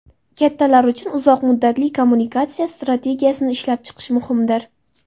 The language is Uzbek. Kattalar uchun uzoq muddatli kommunikatsiya strategiyasini ishlab chiqish muhimdir.